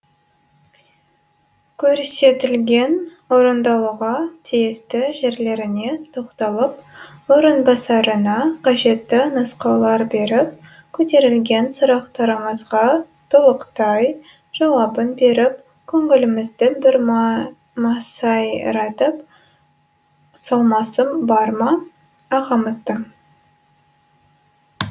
көрсетілген орындалуға тиісті жерлеріне тоқталып орынбасарына қажетті нұсқаулар беріп көтерілген сұрақтарымызға толықтай жауабын беріп көңілімізді бір масайратып салмасы бар ма ағамыздың